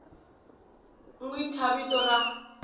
n wi thya vito ra